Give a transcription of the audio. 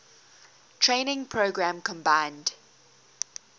training program combined